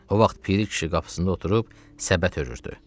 O vaxt Piri kişi qapısında oturub səbət hörürdü.